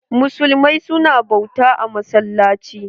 Muslimai su na bauta a massalaci.